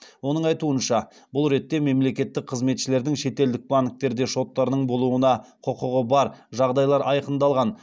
оның айтуынша бұл ретте мемлекеттік қызметшілердің шетелдік банктерде шоттарының болуына құқығы бар жағдайлар айқындалған